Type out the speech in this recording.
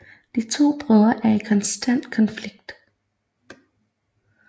De to brødre er i konstant konflikt